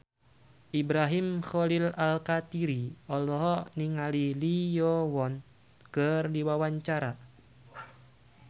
Ibrahim Khalil Alkatiri olohok ningali Lee Yo Won keur diwawancara